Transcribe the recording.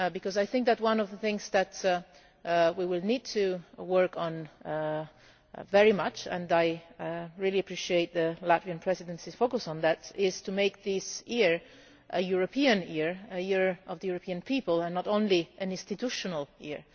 I think that one of the things that we will need to work on very much and I really appreciate the Latvian Presidency's focus on that is to make this year a European Year, a Year of the European People, and not only an institutional year.